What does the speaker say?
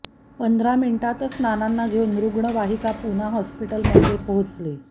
पंधरा मिनिटातच नानांना घेऊन रुग्णवाहीका पुना हॉस्पिटलमध्ये पोहोचली